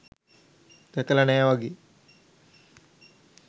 දැකලා නෑ වගේ.